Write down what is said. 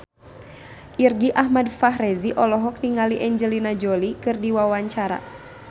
Irgi Ahmad Fahrezi olohok ningali Angelina Jolie keur diwawancara